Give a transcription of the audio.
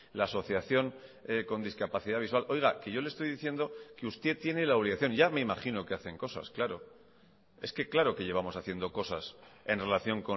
la asociación con discapacidad visual oiga que yo le estoy diciendo que usted tiene la obligación ya me imagino que hacen cosas claro es que claro que llevamos haciendo cosas en relación